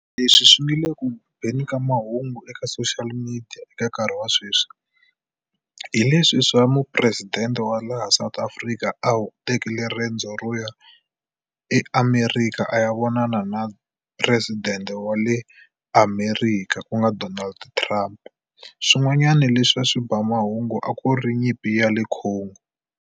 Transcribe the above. Leswi swi nga le ku beni ka mahungu eka social media eka nkarhi wa sweswi hi leswi swa mupresidente wa laha South Africa a wu tekile riendzo ro ya eAmerika a ya vonana na president wa le Amerika ku nga Donald Trump. Swin'wanyana leswi a swi ba mahungu a ku ri nyimpi ya le Congo.